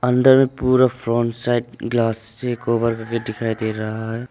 अंदर पूरा front side glass से कवर करके दिखाई दे रहा है।